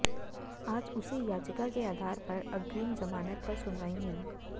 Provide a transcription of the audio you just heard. आज उसी याचिका के आधार पर अग्रिम जमानत पर सुनवाई हुई